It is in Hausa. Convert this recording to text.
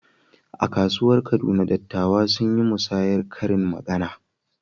A kasuwar Kaduna, dattawa sun yi musayar karin magana.